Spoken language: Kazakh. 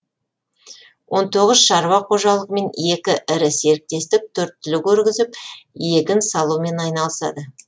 он тоғыз шаруа қожалығы мен екі ірі серіктестік төрт түлік өргізіп егін салумен айналысады